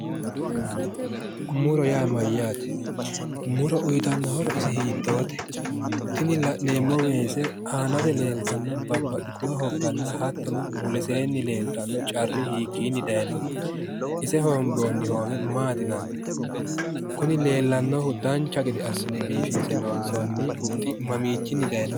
muro yaa mayyaate? muro uyiitanno horo ise hiittoote? tini la'neemmo weese leeltanno babbaxitino hogganna hattono muleseenni leellanno carri hiikkinni dayiinoho? ise hoomboonni hoowe maati yinanni? kuni leellannohu dancha gede assine biifinse huxxinoonni huxxi mamiinni dayiinoho?